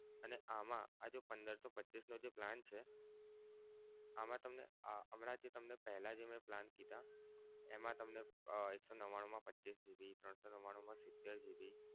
અને આમા આ જો પંદર સો પચ્ચીસનો જે plan છે. આમા તમને હમણાં જે પેહલા જે મે plan કીધા એમા તમને એક સો નવ્વાણું મા પચ્ચીસ GB ત્રણ સો નવ્વાણું મા સિતેર GB એમા